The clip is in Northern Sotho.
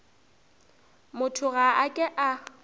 motho ga a ke a